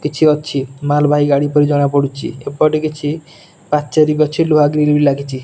କିଛି ଅଛି ମାଲବାହୀ ଗାଡ଼ି ପରି ଜଣାପଡ଼ୁଚି ଏପଟେ କିଛି ପାଚେରୀ ଅଛି ଲୁହା ଗ୍ରିଲ୍ ବି ଲାଗିଚି।